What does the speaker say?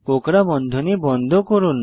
কোঁকড়া বন্ধনী বন্ধ করুন